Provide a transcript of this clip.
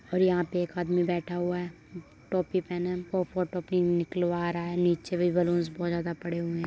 और यहाँ पे एक आदमी बैठा हुआ है टोपी पेहने वो फोटो किन निकलवा रहा है। नीचे भी बलून्स बहुत ज़्यादा पड़े हुए हैं।